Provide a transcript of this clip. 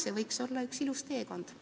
See võiks olla üks ilus teekond.